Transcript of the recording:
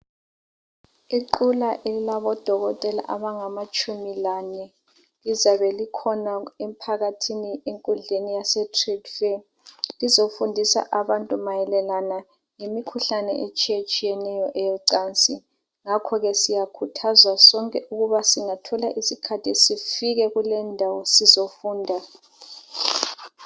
Iqula elabodokotela abalitshumi lanye, lizabe likhona emphakathini enkudleni yasetrade fare lizofundisa abantu mayelana lemikhuhlane etshiyatshiyeneyo eyecansi ngakho ke siyakhuthazwa sonke ukuthi sifike kuleyo ndawo sizofunda.